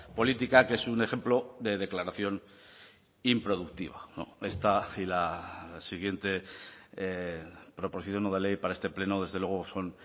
política que es un ejemplo de declaración improductiva esta y la siguiente proposición no de ley para este pleno desde luego son